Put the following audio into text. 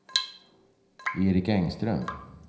Erik Engström